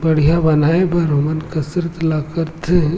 बढ़िया बनाए बर ओमन कसरत ल करथे।